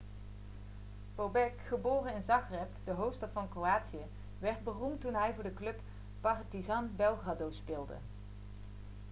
bobek geboren in zagreb de hoofdstad van kroatië werd beroemd toen hij voor de club partizan belgrado speelde